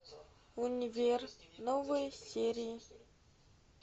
универ новые серии